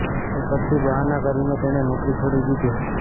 એ પછી બહાનાં કરીને તેણે નોકરી છોડી દીધી હતી